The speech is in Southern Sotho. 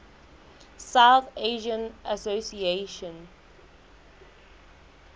south asian association